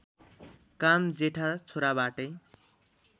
काम जेठा छोराबाटै